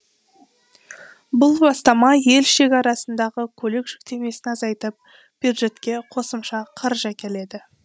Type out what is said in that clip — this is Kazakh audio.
бұл бастама ел шекарасындағы көлік жүктемесін азайтып бюджетке қосымша қаржы әкеледі